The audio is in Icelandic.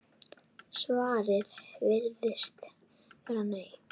Svarið virðist vera nei.